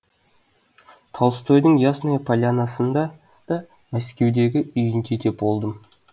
толстойдың ясная полянасында да мәскеудегі үйінде де болдым